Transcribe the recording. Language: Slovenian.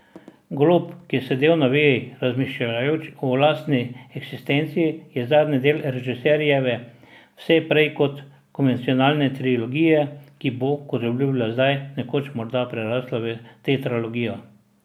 Golob, ki je sedel na veji, razmišljujoč o lastni eksistenci je zadnji del režiserjeve vse prej kot konvencionalne trilogije, ki bo, kot obljublja zdaj, nekoč morda prerasla v tetralogijo.